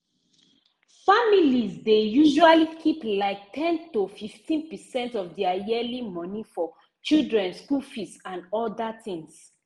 families dey usually keep like ten to 15 percent of their yearly moni for children school fees and other things